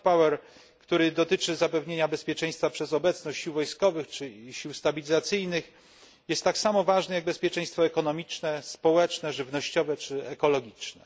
hard power który dotyczy zapewnienia bezpieczeństwa przez obecność sił wojskowych czy sił stabilizacyjnych, jest tak samo ważny jak bezpieczeństwo ekonomiczne, społeczne, żywnościowe czy ekologiczne.